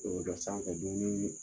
O sanfɛ dumuni